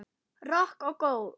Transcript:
Rokk og ról.